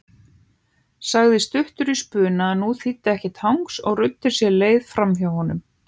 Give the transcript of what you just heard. Sagði stuttur í spuna að nú þýddi ekkert hangs og ruddi sér leið framhjá honum.